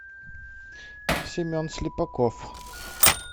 семен слепаков